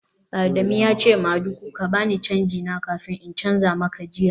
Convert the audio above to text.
Adamu ya ce madugu ka ba ni canji na kafin in canza maka jiya